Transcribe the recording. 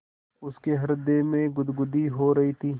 उसके हृदय में गुदगुदी हो रही थी